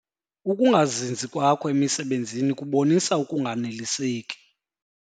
Uukungazinzi kwakho emisebenzini kubonisa ukunganeliseki.